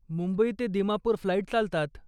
मुंबई ते दिमापुर फ्लाईट चालतात.